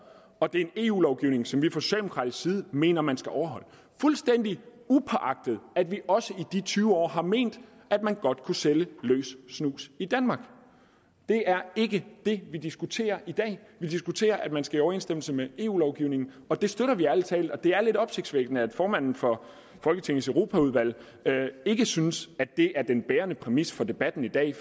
og det er en eu lovgivning som vi fra socialdemokratisk side mener man skal overholde fuldstændigt upåagtet at vi også i de tyve år har ment at man godt kunne sælge løs snus i danmark det er ikke det vi diskuterer i dag vi diskuterer at man skal være i overensstemmelse med eu lovgivningen og det støtter vi ærlig talt og det er lidt opsigtsvækkende at formanden for folketingets europaudvalg ikke synes at det er den bærende præmis for debatten i dag